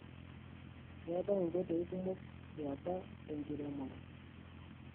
Ketae nkoitoi kumok yeapa tenkiremore.